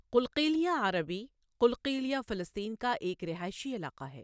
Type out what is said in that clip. Qalqilya عربی Qalqilya فلسطین کا ایک رہائشی علاقہ ہے۔